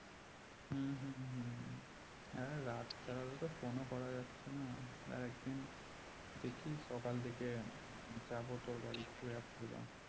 হ্যাঁ রাত ছাড়া তো phone ও করা যাচ্ছে না আর একদিন দেখি সকাল দিকে যাবো তোর বাড়ি ঘুরে আসবো গা